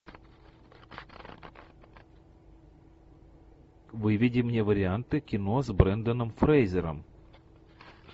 выведи мне варианты кино с бренданом фрейзером